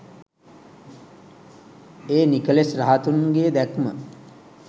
ඒ නිකෙලෙස් රහතුන්ගේ දැක්ම